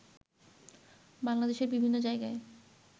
বাংলাদেশের বিভিন্ন জায়গায়